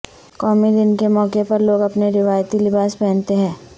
قومی دن کے موقع پر لوگ اپنے روائتی لباس پہنتے ہیں